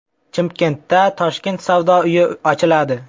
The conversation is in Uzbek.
Chimkentda Toshkent savdo uyi ochiladi.